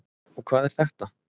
Og hvað er þetta?